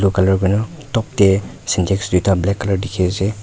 blue colour hoina top tey sintex duita black colour dikhi ase.